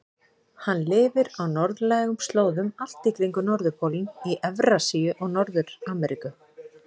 Hann lifir á norðlægum slóðum allt í kringum norðurpólinn í Evrasíu og Norður-Ameríku.